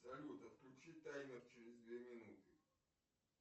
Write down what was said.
салют отключи таймер через две минуты